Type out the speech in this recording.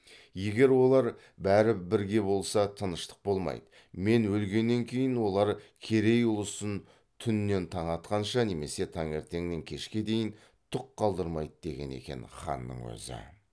егер олар бәрі бірге болса тыныштық болмайды мен өлгеннен кейін олар керей ұлысын түннен таң атқанша немесе таңертеңнен кешке дейін түк қалдырмайды деген екен ханның өзі